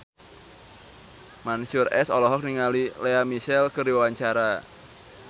Mansyur S olohok ningali Lea Michele keur diwawancara